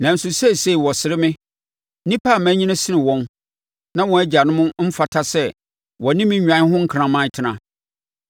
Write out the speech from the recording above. “Nanso seesei wɔsere me, nnipa a manyini sene wɔn, na wɔn agyanom mfata sɛ wɔne me nnwan ho nkraman tena.